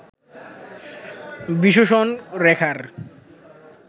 বিশোষণ রেখার